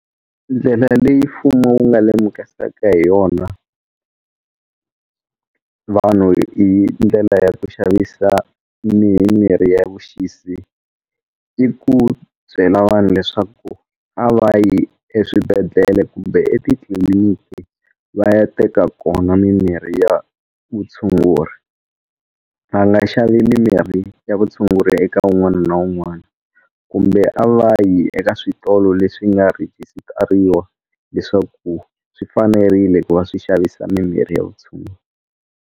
Ndlela leyi mfumo wu nga lemukisaka hi yona vanhu hi ndlela ya ku xavisa mimirhi leya vuxisi i ku byela vanhu leswaku a va yi eswibedhlele kumbe etitliliniki va ya teka kona mimirhi ya vutshunguri va nga xava mimirhi ya vutshunguri eka wun'wana na wun'wana kumbe a va yi eka switolo leswi nga rhigisitariwa leswaku swi fanerile ku va swi xavisa mimirhi ya vutshungu.